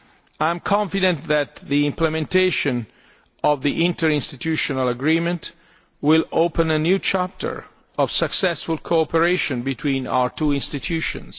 I am confident that the implementation of the interinstitutional agreement will open a new chapter of successful cooperation between our two institutions.